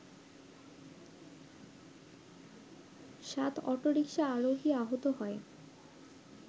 সাত অটোরিকশা আরোহী আহত হয়